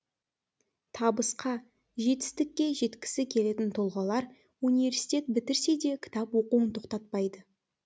табысқа жетістікке жеткісі келетін тұлғалар университет бітірсе де кітап оқуын тоқтатпайды